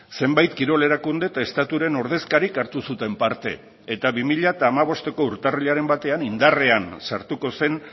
zenbait kirol erakunde eta estaturen ordezkarik hartu zuten parte eta bi mila hamabosteko urtarrilaren batean indarrean sartuko zen